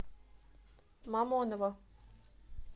мамоново